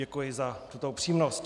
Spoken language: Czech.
Děkuji za tuto upřímnost.